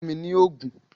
Fún mi ni oògùn!